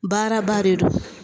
Baaraba de don